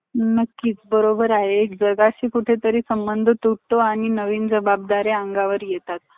असा income बघून माणसाने तो business केला पाहिजे. माणसांनो आणि कायतरी आवूश्यात मोठ करायचं आसल, तर माणसांनो business शिवाय आपले स्वप्न पूर्ण करायचे, असले तर business